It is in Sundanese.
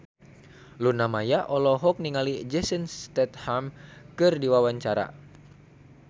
Luna Maya olohok ningali Jason Statham keur diwawancara